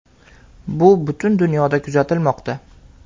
Bu butun dunyoda kuzatilmoqda.